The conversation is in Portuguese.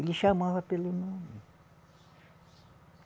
Ele chamava pelo nome.